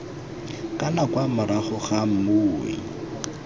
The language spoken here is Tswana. kana kwa morago ga mmui